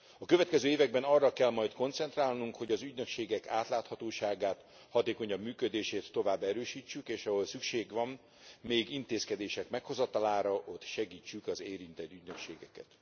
A következő években arra kell majd koncentrálnunk, hogy az ügynökségek átláthatóságát, hatékonyabb működését tovább erősítsük, és ahol szükség van még intézkedések meghozatalára, ott segítsük az érintett ügynökségeket.